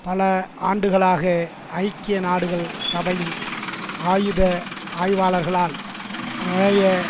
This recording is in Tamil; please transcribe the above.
பல ஆண்டுகளாக ஐக்கிய நாடுகள் சபையின் ஆயுத ஆய்வாளர்களால் நுழைய